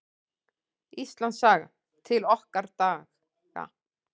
Íslandssaga: til okkar daga.